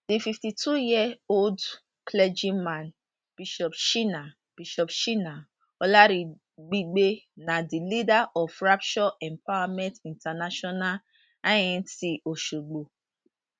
di fifty two year old clergy man bishop shina bishop shina olaribigbe na di leader of rapture empowerment international inc osogbo